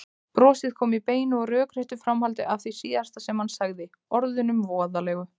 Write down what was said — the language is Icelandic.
Brosið kom í beinu og rökréttu framhaldi af því síðasta sem hann sagði, orðunum voðalegu.